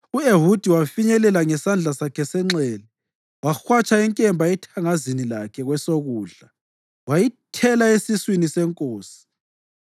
u-Ehudi wafinyelela ngesandla sakhe senxele, wahwatsha inkemba ethangazini lakhe kwesokudla wayithela esiswini senkosi.